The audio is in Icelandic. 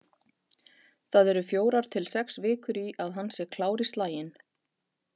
Það eru fjórar til sex vikur í að hann sé klár í slaginn.